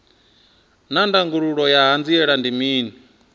naa ndangulo ya hanziela ndi mini